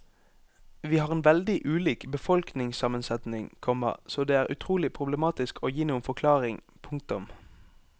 Vi har en veldig ulik befolkningssammensetning, komma så det er utrolig problematisk å gi noen forklaring. punktum